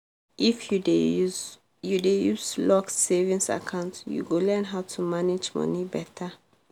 if you dey use you dey use locked savings account you go learn how to manage money better.